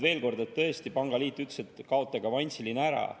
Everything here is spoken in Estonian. Veel kord: tõesti pangaliit ütles, et kaotage avansiline ära.